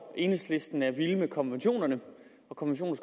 at enhedslisten er vild med konventionerne